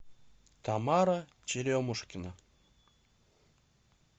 тамара черемушкина